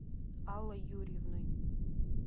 аллой юрьевной